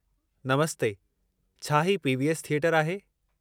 नमस्ते, छा हीउ P. V. S. थिएटरु आहे?